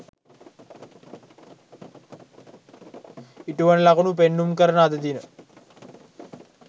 ඉටුවන ලකුණු පෙන්නුම් කරන අද දින